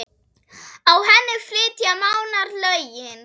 Á henni flytja Mánar lögin